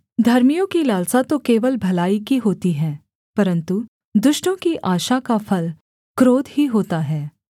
धर्मियों की लालसा तो केवल भलाई की होती है परन्तु दुष्टों की आशा का फल क्रोध ही होता है